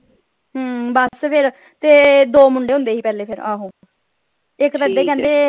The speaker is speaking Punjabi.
ਹਮ ਬੱਸ ਫੇਰ ਤੇ ਦੋ ਮੁੰਡੇ ਹੁੰਦੇ ਸੀ ਪਹਿਲੇ ਫੇਰ ਆਹੋ।